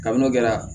Kabini n'o kɛra